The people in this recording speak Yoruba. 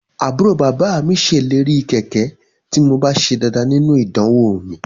Àbúrò bàbá mi ṣèlérí kẹ̀kẹ́ tí mo bá ṣe dáadáa nínú idanwò mi